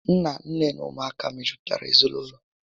Nna, nné na ụmụ aka mejupụtara ezinaụlọ